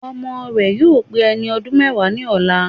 Ọmọ rẹ̀ yóò pé ẹni ọdún mẹ́wàá ní ọ̀la